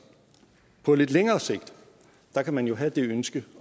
på lidt længere sigt kan man jo have det ønske